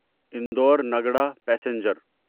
Indore Nagda passenger